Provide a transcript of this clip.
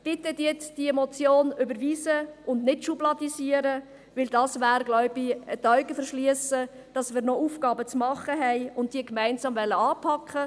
Bitte überweisen Sie diese Motion, und schubladisieren Sie sie nicht, denn das wäre dasselbe, als würden Sie die Augen vor den Aufgaben, die wir noch zu erledigen haben und gemeinsam anpacken sollten, verschliessen.